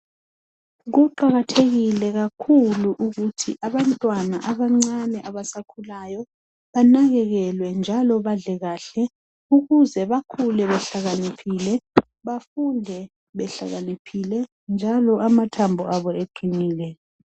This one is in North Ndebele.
Kuqakathekile kakhulu ukuthi abantwana abancane abasakhulayo banakekelwe njalo badle kahle ukuze bakhule behlakaniphile bafunde behlakaniphile njalo amathambo abo eqinile